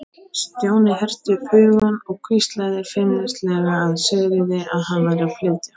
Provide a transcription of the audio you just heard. Stjáni herti upp hugann og hvíslaði feimnislega að Sigríði að hann væri að flytja.